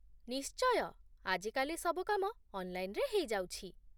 ନିଶ୍ଚୟ! ଆଜି କାଲି ସବୁ କାମ ଅନ୍‌ଲାଇନ୍‌ରେ ହେଇଯାଉଛି